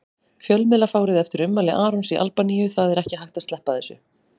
Fjölmiðlafárið eftir ummæli Arons í Albaníu Það er ekki hægt að sleppa þessu.